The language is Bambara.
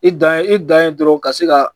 I dan ye i dan ye dɔrɔn ka se ka